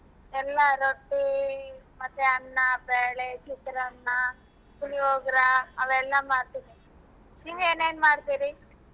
ಎಲ್ಲಾ ರೊಟ್ಟಿ ಮತ್ತೆ ಅನ್ನಾ ಬ್ಯಾಳಿ ಚಿತ್ರಾನ್ನ ಪುಳಿಯೋಗರ ಅವೆಲ್ಲಾ ಮಾಡ್ತೀನಿ ನೀವ್' ಏನೇನ್ ಮಾಡ್ತೀರಿ?